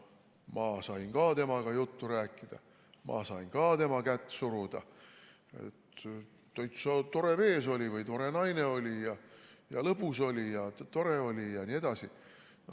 Ma sain ka temaga juttu rääkida, ma sain ka tema kätt suruda, täitsa tore mees või tore naine oli ja lõbus oli ja tore oli jne.